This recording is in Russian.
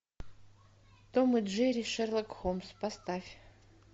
том и джерри шерлок холмс поставь